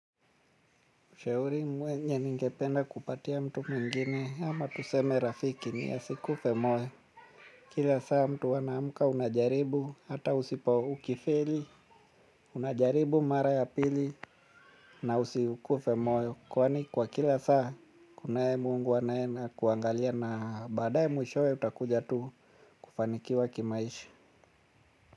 Ushauri mwenye ningependa kupatia mtu mwingine ama tuseme rafiki ni asikufe moyo. Kila saa mtu anaamka unajaribu ata usipo ukifeli. Unajaribu mara ya pili na usikufe moyo. Kwani kwa kila saa kunaye mungu anaye na kuangalia na baadaye mwishowe utakuja tu kufanikiwa kimaisha.